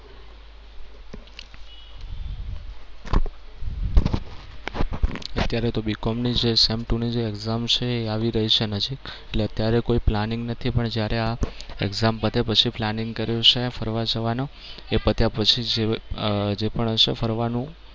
અત્યારે તો BCOM ની જે sem two ની જે exam છે એ આવી રહી છે નજીક એટલે ત્યારે કોઈ planning નથી. પણ જ્યારે આ exam પતે પછી planning કર્યું છે ફરવા જવાનું. એ પત્યા પછી જે પણ હશે ફરવાનું